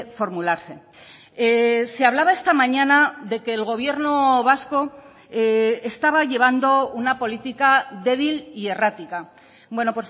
formularse se hablaba esta mañana de que el gobierno vasco estaba llevando una política débil y errática bueno